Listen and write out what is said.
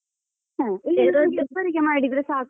ಇಬ್ಬರಿಗೆ ಮಾಡಿದ್ರೆ ಸಾಕು.